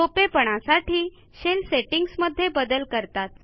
सोपेपणासाठी Shellसेटींगमध्ये बदल करतात